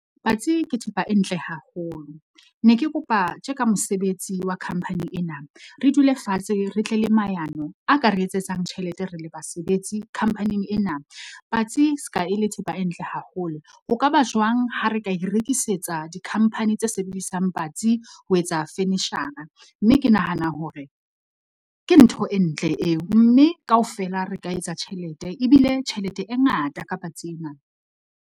Patsi ke thepa e ntle haholo, ne ke kopa tje ka mosebetsi wa khamphani ena, re dule fatshe re tle le maano a ka re etsetsang tjhelete re le basebetsi khampaning ena. Patsi se ka e le thepa e ntle haholo, ho ka ba jwang ha re ka e rekisetsa dikhampani tse sebedisang patsi ho etsa furniture-ra, mme ke nahana hore ke ntho e ntle eo mme kaofela re ka etsa tjhelete, ebile tjhelete e ngata ka patsi ena.